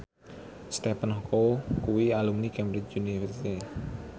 Stephen Chow kuwi alumni Cambridge University